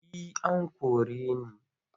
Eh an kore ni.